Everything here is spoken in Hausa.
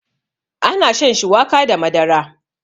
ana shan shuwaka da Madara